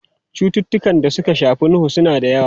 Cututtukan da suka shafi huhu suna da yawa.